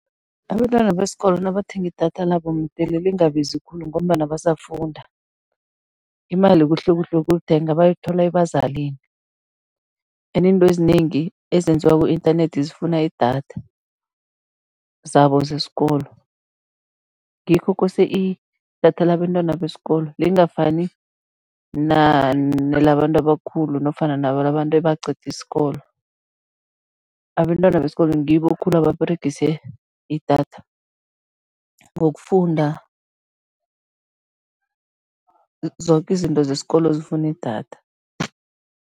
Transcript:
Abentwana besikolo nabathenga idatha labo mdele lingabizi khulu ngombana basafunda. Imali kuhlekuhle yokulithenga, bayithola ebazalini and intwezinengi ezenziwa ku-internet zifuna idatha, zabo zesikolo, ngikho kose idatha labentwana besikolo, lingafani nelabantu abakhulu nofana bantu ebaqede isikolo. Abentwana besikolo ngibo khulu ebaberegise idatha, ngokufunda, zoke izinto zesikolo zifuna idatha.